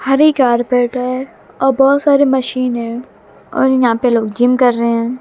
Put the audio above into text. Hari carpet है और बहोत सारे मशीन है और यहां पे लोग जिम कर रहे हैं।